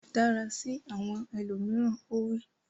Dára sí àwọn ẹlòmíràn! Ó wí.